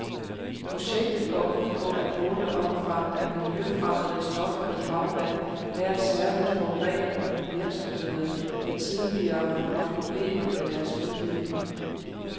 Projektet går ud på at måle omfanget af miljøfremmede stoffer i havvand nær særligt forurenende virksomheder, der tidligere har haft problemer med deres udledninger.